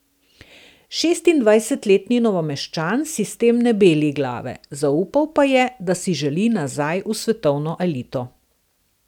Šestindvajsetletni Novomeščan si s tem ne beli glave, zaupal pa je, da si želi nazaj v svetovno elito.